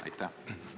Aitäh!